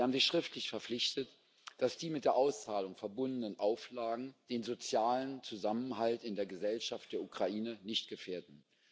Sie haben sich schriftlich verpflichtet, dass die mit der Auszahlung verbundenen Auflagen den sozialen Zusammenhalt in der Gesellschaft der Ukraine nicht gefährden.